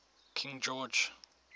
king george